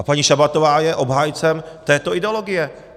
A paní Šabatová je obhájcem této ideologie.